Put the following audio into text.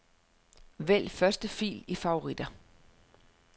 Vælg første fil i favoritter.